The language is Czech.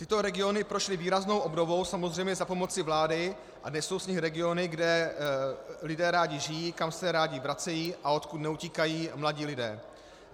Tyto regiony prošly výraznou obnovou, samozřejmě za pomoci vlády, a dnes jsou z nich regiony, kde lidé rádi žijí, kam se rádi vracejí a odkud neutíkají mladí lidé.